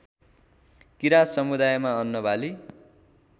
किरात समुदायमा अन्नबाली